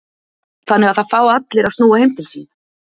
Þannig að það fá allir að snúa heim til sín?